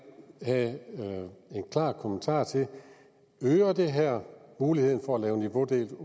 have en klar kommentar til øger det her muligheden for at lave niveaudelt